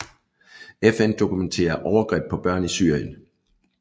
FN dokumenterer overgreb på børn i Syrien